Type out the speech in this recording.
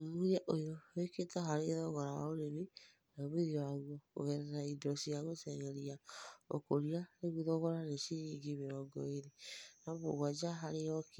ũthũthũrĩa ũyũ wĩkĩtũo harĩ thogora wa ũrĩmĩ na ũmĩthĩo wagũo kũgerera ĩndo cĩa gũteng'erĩa ũkũrĩa na rĩũ thogora nĩ cĩrĩngĩ mĩrongo ĩrĩ na mũgwanja harĩ kĩlo